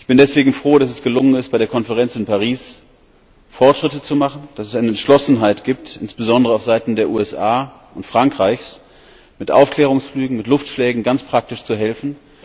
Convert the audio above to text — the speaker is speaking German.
Ich bin deswegen froh, dass es gelungen ist, bei der Konferenz in Paris Fortschritte zu machen, dass es eine Entschlossenheit gibt, insbesondere auf Seiten der USA und Frankreichs, mit Aufklärungsflügen, mit Luftschlägen ganz praktisch zu helfen.